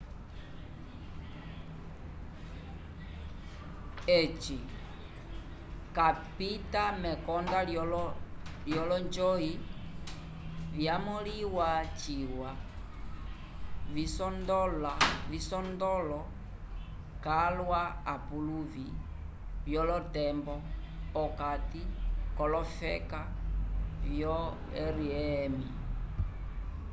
eci capita mekonda lyolonjoyi vyamõliwa ciwa visondolo calwa apuluvi vyolotembo p'okati k'olofeka vyo rem